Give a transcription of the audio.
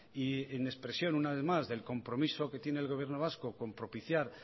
y en expresión una vez más del compromiso que tiene el gobierno vasco con propiciar